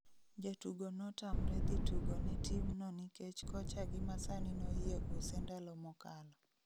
Jatugo notamre dhi tugo ne team no nikech kocha gi masani noyie use ndalo mokalo